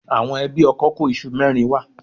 Àwọn ẹbí ọkọ kó iṣu mẹ́rin wá.